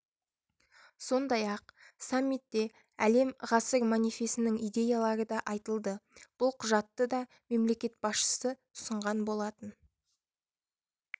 сондай-ақ самитте әлем ғасыр манифесінің идеялары да айтылды бұл құжатты да мемлекет басшысы ұсынған болатын